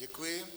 Děkuji.